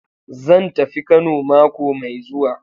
Zan tafi Kano mako mai zuwa.